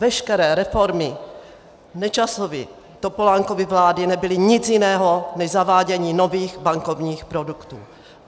Veškeré reformy Nečasovy a Topolánkovy vlády nebyly nic jiného než zavádění nových bankovních produktů.